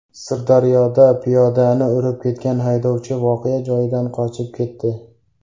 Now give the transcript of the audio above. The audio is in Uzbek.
Sirdaryoda piyodani urib ketgan haydovchi voqea joyidan qochib ketdi.